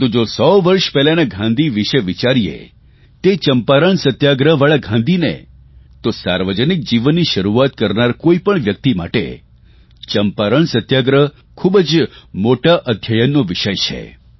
પરંતુ જો સો વર્ષ પહેલાના ગાંધી વિશે વિચારીએ તે ચંપારણ સત્યાગ્રહવાળા ગાંધીને તો સાર્વજનિક જીવનની શરૂઆત કરનારા કોઇપણ વ્યકિત માટે ચંપારણ સત્યાગ્રહ ખૂબ જ મોટા અધ્યયનનો વિષય છે